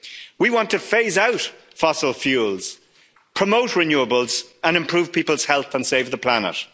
year. We want to phase out fossil fuels, promote renewables and improve people's health and save the planet.